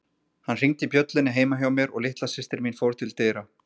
Hann hringdi bjöllunni heima hjá mér og litla systir mín fór til dyra.